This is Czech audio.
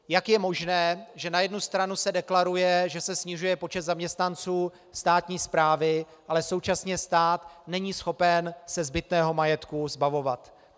Jak je možné, že na jednu stranu se deklaruje, že se snižuje počet zaměstnanců státní správy, ale současně stát není schopen se zbytného majetku zbavovat?